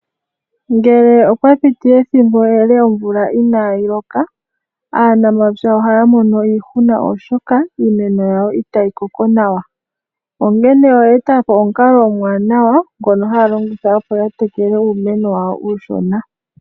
Ngele opwa piti ethimbo ele omvula inayii loka aanamapya ohaya mono iihuna, oshoka iimeno yawo itayi koko nawa, onkene oya ninga po omukalo omwaanawa ngono haya longitha opo ya tekele uumeno wawo mbono uushona.